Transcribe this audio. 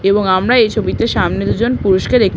এবং আমরা এই ছবিতে সামনে দুজন পুরুষকে দেখ --